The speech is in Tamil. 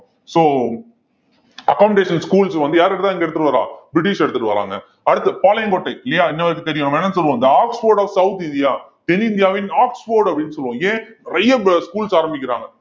so accommodation schools வந்து யாரு தான் இங்க எடுத்துட்டு வர்றான் பிரிட்டிஷ் எடுத்துட்டு வராங்க அடுத்து பாளையங்கோட்டை இல்லையா என்ன சொல்லுவோம் the Oxford of south India தென்னிந்தியாவின் ஆக்ஸ்போர்ட் அப்படின்னு சொல்லுவோம் ஏன் நிறைய ப~ schools ஆரம்பிக்கிறாங்க